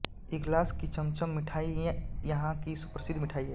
इगलास की चमचम मिठाई यहाँ की सुप्रसिद्ध मिठाई है